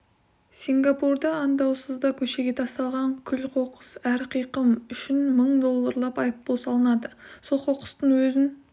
сингапурда аңдаусызда көшеге тасталған күл-қоқыс әр қиқым үшін мың долларлап айыппұл салынады сол қоқыстың өзін